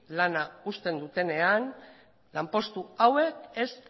lana uztean dutenean lanpostu hauek ez